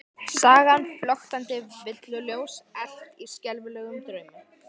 Sagan flöktandi villuljós elt í skelfilegum draumi?